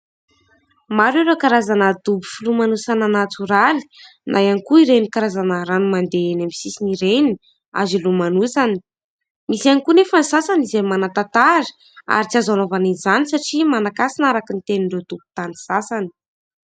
Maro ireo karazana dobo filomanosana natoraly na ihany koa ireny karazana rano mandeha eny amin'ny sisiny ireny, azo hilomanosana. Misy ihany koa anefa sasany izay manan-tantara ary tsy azo anaovana izany satria manankasina araky ny tenin'ireo tompon-tany sasany.